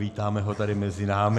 Vítáme ho tady mezi námi.